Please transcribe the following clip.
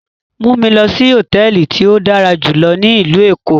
Mu mi lọ si hotẹẹli ti o dara julọ ni ilu Eko!